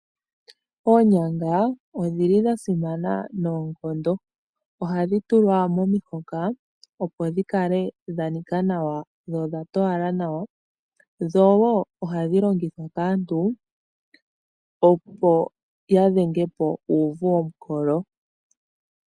Oonyanga odhili dha simana noonkondo, ohadhi tulwa momihoka opo dhi kale dha nika nawa dho odha towala nawa. Dho wo ohadhi longithwa kaantu opo ya dhenge po uuvu womukolo.